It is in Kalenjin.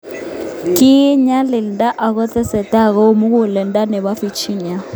Kiet nyalilda akotestai koim muguleldo nebo Virginia.